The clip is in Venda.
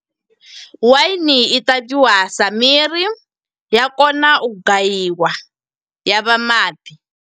Waini i ṱavhiwa sa miri, ya kona u gayiwa, ya vha maḓi.